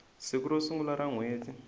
siku ro sungula ra nhweti